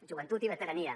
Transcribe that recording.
joventut i veterania